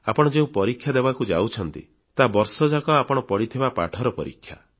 ଆପଣ ଯେଉଁ ପରୀକ୍ଷା ଦେବାକୁ ଯାଉଛନ୍ତି ତାହା ବର୍ଷଯାକ ଆପଣ ପଢ଼ିଥିବା ପାଠର ପରୀକ୍ଷା